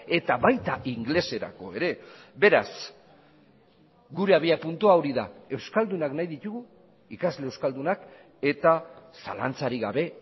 eta baita ingeleserako ere beraz gure abiapuntua hori da euskaldunak nahi ditugu ikasle euskaldunak eta zalantzarik gabe